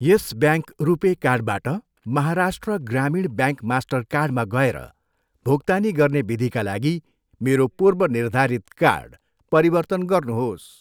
यस Bank RuPay कार्डबाट Maharashtra Gramin Bank मास्टरकार्डमा गएर भुक्तानी गर्ने विधिका लागि मेरो पूर्वनिर्धारित कार्ड परिवर्तन गर्नुहोस्।